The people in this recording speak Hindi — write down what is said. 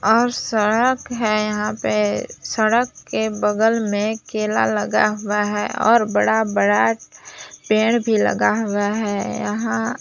और सड़क है यहां पे सड़क के बगल मे केला लगा हुआ है और में बड़ा बड़ा पेड़ भी लगा हुआ है यहां--